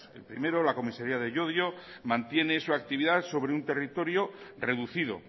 el primero la comisaria de llodio mantiene su actividad sobre un territorio reducido